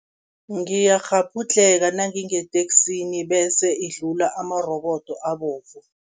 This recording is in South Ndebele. Ngiyakghabhudlheka nangingeteksini bese idlula amarobodo abovu.